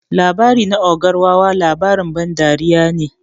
Labari na ogar wawa labarin ban dariya ne.